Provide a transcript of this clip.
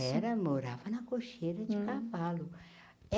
Era morava na cocheira de cavalo.